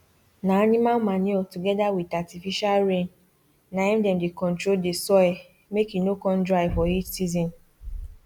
na animal manure together with artificial rain na him dem dey control the soilmake e no con dry for heat season